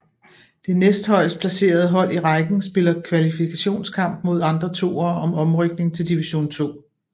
Det næstehøjest placerede hold i rækken spiller kvalifikationskamp mod andre toere om oprykning til Division 2